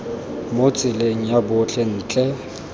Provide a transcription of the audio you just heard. mo tseleng ya botlhe ntle